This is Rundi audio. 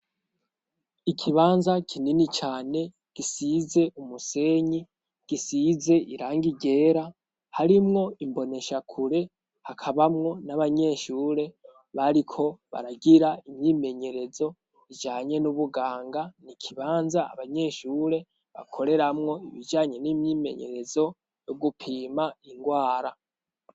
Ikibanza kinini cane gisize umusenyi gisize irangi ryera harimwo imboneshakure hakabamwo n'abanyeshure bariko baragira imyimenyerezo ijanye n'ubuganga. Ni ikibanza abanyeshure bakoreramwo ibijanye n'imyimenyerezo yo gupima indwara.